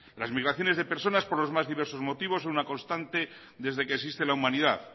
las migraciones de personas por los más diversos motivos son una constante desde que existe la humanidad